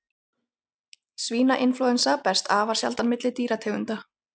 Svínainflúensa berst afar sjaldan milli dýrategunda.